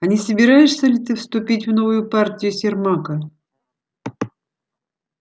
а не собираешься ли ты вступить в новую партию сермака